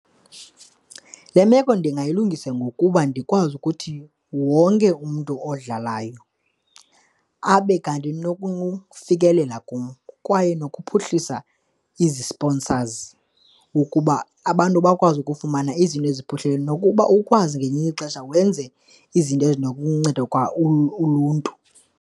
Le meko ndingayilungisa ngokuba ndikwazi ukuthi wonke umntu odlalayo abe kanti nokufikelela kum kwaye nokuphuhlisa izi-sponsors ukuba abantu bakwazi ukufumana izinto eziphuhlileyo nokuba ukwazi ngelinye ixesha wenze izinto ezinokunceda kwa uluntu.